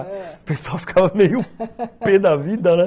O pessoal ficava meio pê da vida, né?